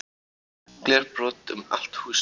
Glerbrot um allt húsið